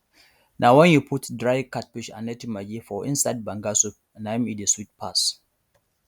na wen you put dry catfish and native maggi for inside banga soup na im e dey sweet pass